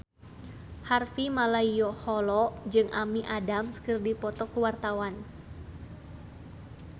Harvey Malaiholo jeung Amy Adams keur dipoto ku wartawan